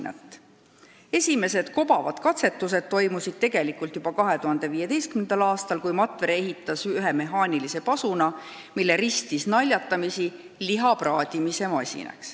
Esimesed kobavad katsetused toimusid tegelikult juba 2015. aastal, kui Matvere ehitas ühe mehhaanilise pasuna, mille ristis naljatamisi Lihapraadimise Masinaks.